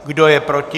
Kdo je proti?